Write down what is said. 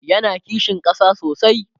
yana kishin ƙasa sosai